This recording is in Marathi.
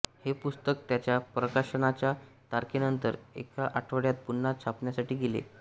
हे पुस्तक त्याच्या प्रकाशनाच्या तारखेनंतर एका आठवड्यात पुन्हा छापण्यासाठी गेले